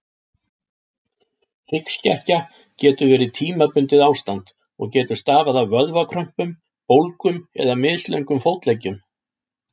Hryggskekkja getur verið tímabundið ástand og getur stafað af vöðvakrömpum, bólgum eða mislöngum fótleggjum.